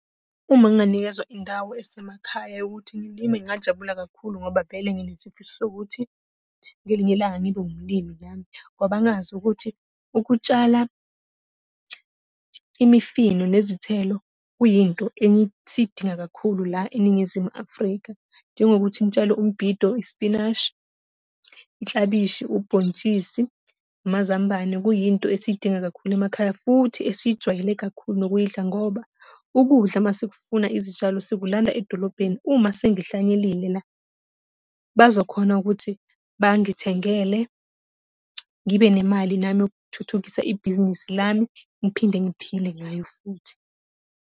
Uma nginganikezwa indawo esemakhaya yokuthi ngilime ngajabula kakhulu ngoba vele nginesifiso sokuthi ngelinye ilanga ngibe umlimi nami. Ngoba ngazi ukuthi, ukutshala imifino, nezithelo kuyinto esidinga kakhulu la eNingizimu Afrika. Njengokuthi ngitshale umbhido, ispinashi, iklabishi, ubhontshisi, amazambane, kuyinto esiyidinga kakhulu emakhaya futhi esiyijwayele kakhulu nokuyidla, ngoba ukudla uma sikufuna izitshalo sikulanda edolobheni. Uma sengihlanyelile la, bazokhona ukuthi bangithengele ngibe nemali nami yokuthuthukisa ibhizinisi lami, ngiphinde ngiphile ngayo futhi.